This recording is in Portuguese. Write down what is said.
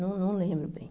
Não lembro bem.